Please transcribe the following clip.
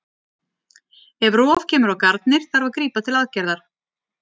Ef rof kemur á garnir þarf að grípa til aðgerðar.